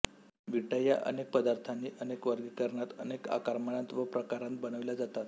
विटा या अनेक पदार्थानी अनेक वर्गीकरणांत अनेक आकारमानांत व प्रकारांत बनविल्या जातात